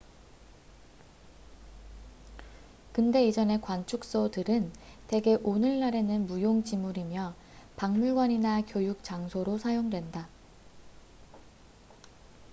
근대 이전의 관측소들은 대개 오늘날에는 무용지물이며 박물관이나 교육 장소로 사용된다